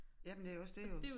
Jamen det også dét jo